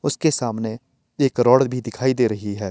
उसके सामने एक करोड भी दिखाई दे रही है।